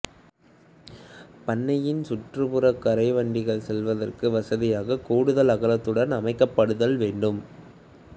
பண்ணையின் சுற்றுப்புறக் கரை வண்டிகள் செல்வதற்கு வசதியாக கூடுதல் அகலத்துடன் அமைக்கப்படுதல் வேண்டும்